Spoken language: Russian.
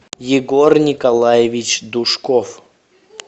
егор николаевич душков